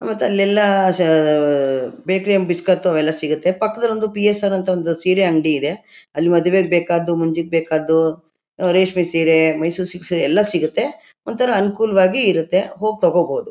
ಮತ್ ಅಲ್ಲೆಲ್ಲ ಷಾ ಆ ಆ ಬೇಕೆರಿ ಲಿ ಬಿಸ್ಕತ್ತು ಅವೆಲ್ಲ ಸಿಗತ್ತೆ. ಪಕ್ಕದಲ್ ಒಂದು ಪಿ ಎಸ ಆರ್ ಅಂತ ಸೀರೆ ಅಂಗಡಿ ಇದೆ. ಅಲ್ಲಿ ಮದ್ವೇಗ್ ಬೇಕಾದ್ದು ಮುಂಜಿಗ್ ಬೇಕ್ಕಾದ್ದು ಆ ರೇಷ್ಮೆ ಸೀರೆ ಮೈಸೂರ್ ಸಿಲ್ಕ್ಸ್ ಎಲ್ಲ ಸಿಗತ್ತೆ. ಒಂಥರಾ ಅನುಕೂಲವಾಗಿರತ್ತೆ ಹೋಗ್ ತೊಗೊಂಡ್ಬೋದು.